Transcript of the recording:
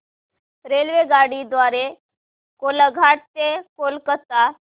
रेल्वेगाडी द्वारे कोलाघाट ते कोलकता